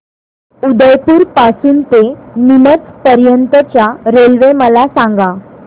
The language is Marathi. उदयपुर पासून ते नीमच पर्यंत च्या रेल्वे मला सांगा